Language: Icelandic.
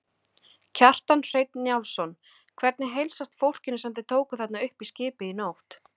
Kjartan Hreinn Njálsson: Hvernig heilsast fólkinu sem þið tókuð þarna upp í skipið í nótt?